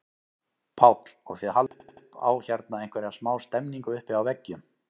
Páll: Og þið haldið upp á hérna einhverja smá stemningu uppi á veggjum?